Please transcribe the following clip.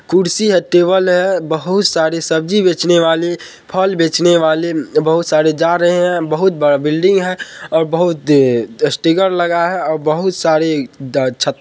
कुर्सी है टेबल है बहुत सारी सब्जी बेचने वाले फल बेचने वाले बहुत सारे जा रहे हैं बहुत बड़ा बिल्डिंग है ओर बहुत ड स्टिकर लगा है ओर बहुत सारी ड छ --